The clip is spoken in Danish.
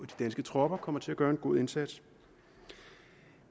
danske tropper kommer til at gøre en god indsats